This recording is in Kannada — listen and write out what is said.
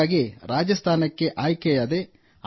ಹಾಗಾಗಿ ರಾಜಸ್ಥಾನಕ್ಕೆ ಆಯ್ಕೆಯಾದೆ